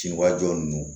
Ci wa jɔ nunnu